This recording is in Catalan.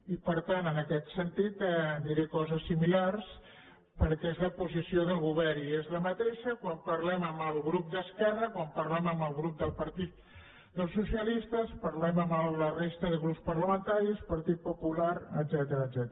i per tant en aquest sentit diré coses similars perquè és la posició del govern i és la mateixa quan parlem amb el grup d’esquerra quan parlem amb el grup del partit dels socialistes quan parlem amb la resta de grups parlamentaris partit popular etcètera